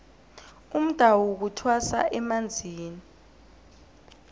umdawu kuthwasa emanzini